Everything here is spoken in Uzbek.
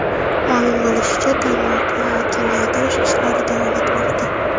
Ma’lum bo‘lishicha, tarmoqni kengaytirish ishlari davom etmoqda.